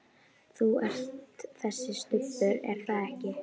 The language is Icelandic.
Þú ert þessi Stubbur, er það ekki?